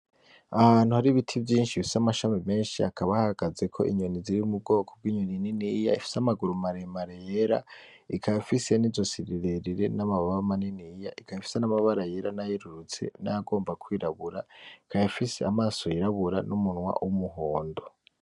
Ahantu hari ibiti vyishi bifise amashami meshi hakaba hahagazeko inyoni ziri mu bwoko bw'inyoni niniya ifise amaguru maremare yera ikaba ifise n'izosi rirerire n'amababa maniniya ikaba ifise n'amabara yera n'ayerurutse n'ayagomba kwirabura ikaba ifise amaso yirabura n'umunwa w'umuhondo.